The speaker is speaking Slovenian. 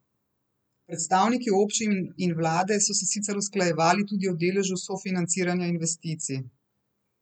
Predstavniki občin in vlade so se sicer usklajevali tudi o deležu sofinanciranja investicij.